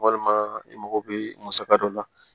Walima i mago bɛ musaka dɔ la